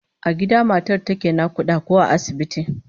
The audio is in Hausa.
A gida matar take nakuda ko a asibiti?